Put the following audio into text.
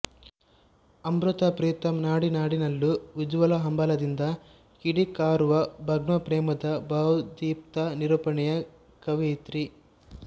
ಅಮೃತಾ ಪ್ರೀತಮ್ ನಾಡಿ ನಾಡಿಯಲ್ಲೂ ಉಜ್ಜ್ವಲ ಹಂಬಲದಿಂದ ಕಿಡಿಕಾರುವ ಭಗ್ನಪ್ರೇಮದ ಭಾವೋದ್ದೀಪ್ತ ನಿರೂಪಣೆಯ ಕವಿಯಿತ್ರಿ